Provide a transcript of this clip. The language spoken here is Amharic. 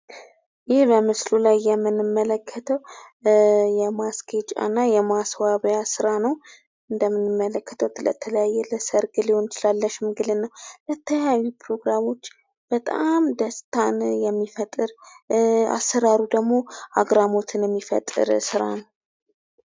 ይህ በምስሉ የምንመለከተው የማስጌጫና የማስዋቢያ ስራ ነው። እንደምንመለከተው ለተለያየ ለሰርግ ሊሆን ይችላል ለሽምግልና ለተለያዩ ፕሮግራሞች በጣም ደስታን የሚፈጥር አሰራሩ ደግሞ አግራሞትን የሚፈጥር ይስራ ነው።